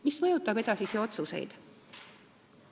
Mis mõjutab edasisi otsuseid?